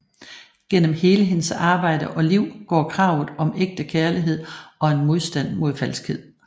Gennem hele hendes arbejde og liv går kravet om ægte kærlighed og en modstand mod falskhed